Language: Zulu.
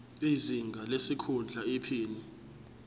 izinga lesikhundla iphini